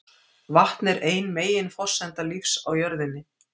Vatn er ein meginforsenda lífs á jörðinni.